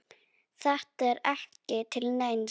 Þetta er ekki til neins.